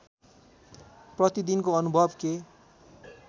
प्रतिदिनको अनुभव के